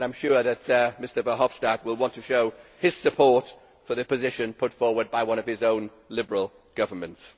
I am sure that Mr Verhofstadt will want to show his support for the position put forward by one of his own Liberal governments.